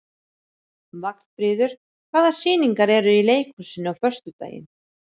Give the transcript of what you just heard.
Vagnfríður, hvaða sýningar eru í leikhúsinu á föstudaginn?